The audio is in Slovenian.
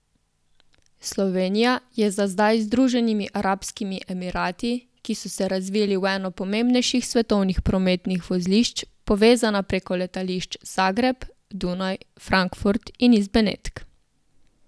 Slovenija je za zdaj z Združenimi arabskimi emirati, ki so se razvili v eno pomembnejših svetovnih prometnih vozlišč, povezana preko letališč Zagreb, Dunaj, Frankfurt in iz Benetk.